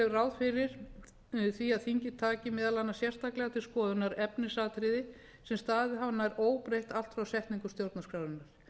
er ráð fyrir það þingið taki meðal annars sérstaklega til skoðunar efnisatriði sem staðið hafa nær óbreytt allt frá setningu stjórnarskrárinnar